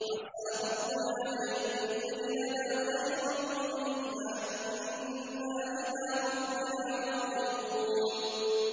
عَسَىٰ رَبُّنَا أَن يُبْدِلَنَا خَيْرًا مِّنْهَا إِنَّا إِلَىٰ رَبِّنَا رَاغِبُونَ